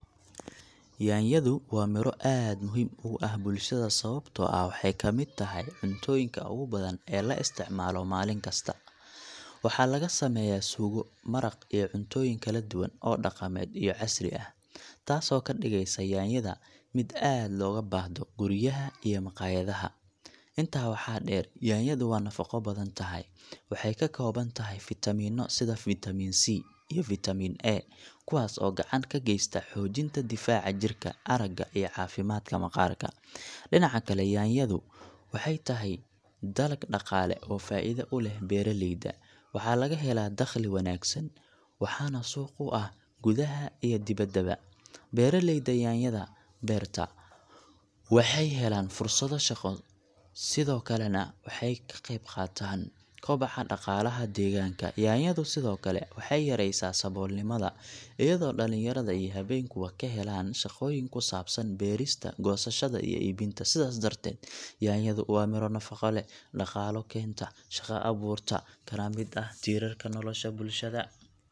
Yaanyadu waa miro aad muhiim ugu ah bulshada sababtoo ah waxay ka mid tahay cuntooyinka ugu badan ee la isticmaalo maalin kasta. Waxaa laga sameeyaa suugo, maraq, iyo cuntooyin kala duwan oo dhaqameed iyo casri ah, taasoo ka dhigaysa yaanyada mid aad looga baahdo guryaha iyo maqaayadaha. Intaa waxaa dheer, yaanyadu waa nafaqo badan tahay. Waxay ka kooban tahay fiitamiinno sida Vitamin C iyo vitamin A, kuwaas oo gacan ka geysta xoojinta difaaca jirka, aragga, iyo caafimaadka maqaarka. Dhinaca kale, yaanyadu waxay tahay dalag dhaqaale oo faa’iido u leh beeraleyda. Waxaa laga helaa dakhli wanaagsan, waxaana suuq u ah gudaha iyo dibaddaba. Beeraleyda yaanyada beerta waxay helaan fursado shaqo, sidoo kalena waxay ka qayb qaataan koboca dhaqaalaha deegaanka. Yaanyadu sidoo kale waxay yaraysaa saboolnimada iyadoo dhalinyarada iyo haweenkuba ka helaan shaqooyin ku saabsan beerista, goosashada, iyo iibinta. Sidaas darteed, yaanyadu waa miro nafaqo leh, dhaqaale keenta, shaqo abuurta, kana mid ah tiirarka nolosha bulshada.